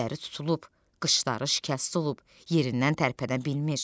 Gözləri tutulub, qışları şikəst olub, yerindən tərpənə bilmir.